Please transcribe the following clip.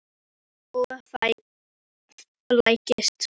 Ég flæktist sem sagt inn í sögu Júlíu.